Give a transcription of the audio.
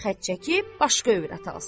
xət çəkib başqa övrət alsın.